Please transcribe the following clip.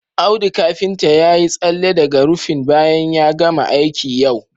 Audu kafinta ya yi tsalle daga rufin bayan ya gama aiki yau